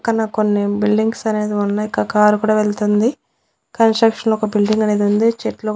పక్కన కొన్ని బిల్డింగ్స్ అనేది ఉన్నాయి క కారు కూడా వెళ్తుంది కన్స్ట్రక్షన్ ఒక బిల్డింగ్ అనేది ఉంది చెట్లు.